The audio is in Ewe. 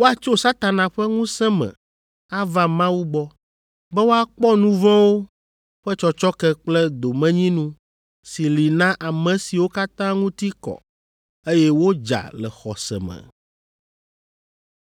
Woatso Satana ƒe ŋusẽ me ava Mawu gbɔ, be woakpɔ nu vɔ̃wo ƒe tsɔtsɔke kple domenyinu si li na ame siwo katã ŋuti kɔ, eye wodza le xɔse me.’